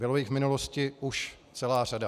Bylo jich v minulosti už celá řada.